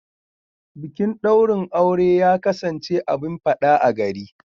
Bikin daurin aure ya kasance abun fada a gari.